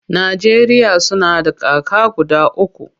Najeriya suna da kaka guda uku.